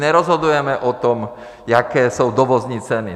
Nerozhodujeme o tom, jaké jsou dovozní ceny.